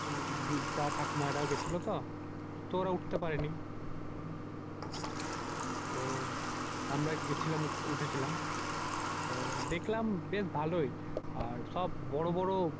বৃদ্ধা ঠাকুমারা ও গেছিলতো। তো ওরা উঠতে পারেনি। তো আমরা গেছিলাম। উঠেছিলাম। তো দেখলাম বেশ ভালোই। আর সব বড় বড়